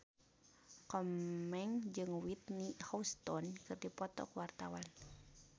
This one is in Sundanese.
Komeng jeung Whitney Houston keur dipoto ku wartawan